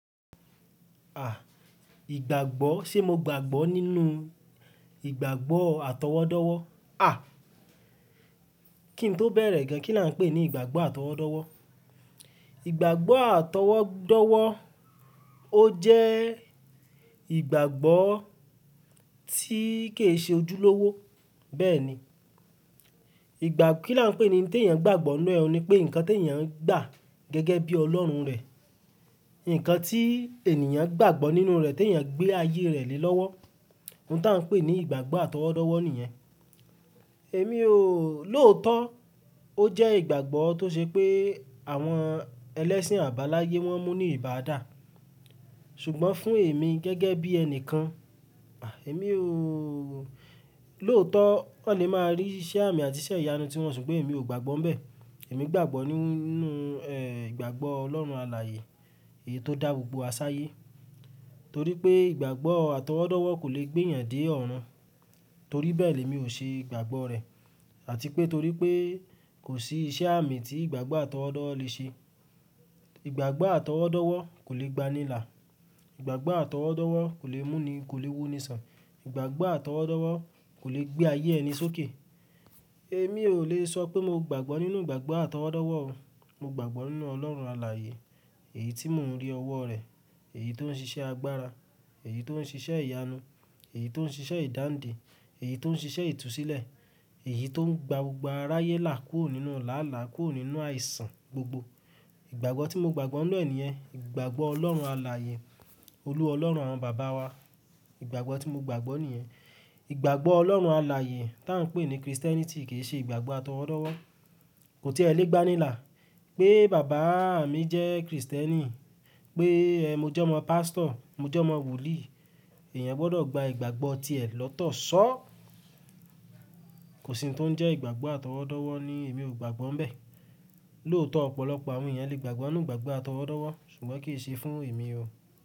À, ìgbàgbọ́, ṣé mo gbàgbọ́ nínú ìgbàgbọ́ àtọwọ́dọ́wọ́? À, kí n tó bẹ̀rẹ̀ gan, kí ni a ń pè ní ìgbàgbọ́ àtọwọ́dọ́wọ́? Ìgbàgbọ́ àtọwọ́dọ́wọ́, ó jẹ́ ìgbàgbọ́ tí kì í ṣe ojúlówó. Bẹ́ẹ̀ ni, ìgbà-- kí là ń pè ẹni tí èèyàn ń gbàgbọ́ nínú ẹ ni pé nǹkan tí èèyàn ń gbà gẹ́gẹ́ bí Ọlọ́run rẹ̀. Ìǹkan tí ènìyàn ń gbàgbọ́ nínú rẹ̀ tí èèyàn gbé ayé rẹ̀ lé lọ́wọ́. Ohun tí a ń pè ní ìgbàgbọ́ àtọwọ́dọ́wọ́ nìyẹn. Èmi ò-- lóòótọ́, ó jẹ́ ìgbàgbọ́ tó ṣe pé àwọn ẹlẹ́sìn àbáláyé wọ́n mú ní ìbàdà. Ṣùgbọ́n fún èmi gẹ́gẹ́ bí ẹnìkan, à, èmi ò-- lóòótọ́, wọ́n lè máa rí iṣẹ́ àmì àti iṣẹ́ ìyanu tí wọ́n ṣe, ṣùgbọ́n èmi ò gbàgbọ́ ń bẹ. Èmi gbàgbọ́ nínú, ẹ́, ìgbàgbọ́ Ọlọ́run alààyè, èyí tó dá gbogbo wa sáyé. Torí pé ìgbàgbọ́ àtọwọ́dọ́wọ́ kò le gbé èèyàn dé ọ̀run. Torí bẹ́ẹ̀ lè mi ò ṣe ìgbàgbọ́ rẹ̀. Àti pé torí pé kò sí iṣẹ́ àmì tí ìgbàgbọ́ àtọwọ́dọ́wọ́ lè ṣe. Ìgbàgbọ́ àtọwọ́dọ́wọ́ kò le gba nílà. Ìgbàgbọ́ àtọwọ́dọ́wọ́ kò le mú ni, kò le mú ni sàn. Ìgbàgbọ́ àtọwọ́dọ́wọ́ kò le gbé ayé ẹni sókè. Èmi ò lè sọ pé mo gbàgbọ́ nínú ìgbàgbọ́ àtọwọ́dọ́wọ́ o. Mo gbàgbọ́ nínú Ọlọ́run alààyè, èyí tí mò ń rí ọwọ́ rẹ̀, èyí tó ń ṣiṣẹ́ agbára, èyí tó ń ṣiṣẹ́ ìyanu, èyí tó ń ṣiṣẹ́ ìdáǹdè, èyí tó ń ṣiṣẹ́ ìtúsílẹ̀, èyí tó ń gba gbogbo aráyé là kúrò nínú làálàá, kúrò nínú àìsàn gbogbo. Ìgbàgbọ́ tí mo gbàgbọ́ nínú ẹ niyén ìgbàgbọ́ Ọlọ́run alààyè, olú ọlọ́run àwọn bàbá wa. Ìgbàgbọ́ tí mo gbàgbọ́ nìyẹn. Ìgbàgbọ́ Ọlọ́run alààyè tá ń pè ní Kristẹ́nìtì kì í ṣe ìgbàgbọ́ àtọwọ́dọ́wọ́. Kò tí ẹ lé gba nílà pé bàbá à mi jẹ́ Kristẹ́nì, pé, ẹ́, mo jẹ́ ọmọ pàstọ̀, mo jẹ́ ọmọ wolíì. Ẹ̀yàn gbọdọ̀ gba ìgbàgbọ́ tí ẹ lọ́tọ̀ ṣọ́. Kò sì ohun tó ń jẹ́ ìgbàgbọ́ àtọwọ́dọ́wọ́ ni èmi ò gbàgbọ́ ń bẹ. Lóòótọ́ ọ̀pọ̀lọpọ̀ àwọn èèyàn lè gbàgbọ́ nínú ìgbàgbọ́ àtọwọ́dọ́wọ́, ṣùgbọ́n kì í ṣe fún èmi o.